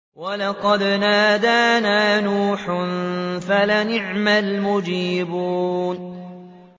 وَلَقَدْ نَادَانَا نُوحٌ فَلَنِعْمَ الْمُجِيبُونَ